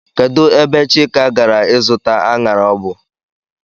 Kedụ ebe Chika gara ịzụta aṅara ọ bụ?